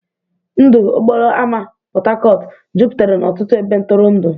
Ndụ okporo ámá Port Harcourt jupụtara n'ọtụtụ ebe ntụrụndụ.